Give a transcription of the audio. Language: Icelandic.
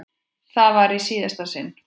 Það var í síðasta sinn.